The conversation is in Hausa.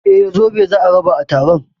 Eh, zobo za a raba a taron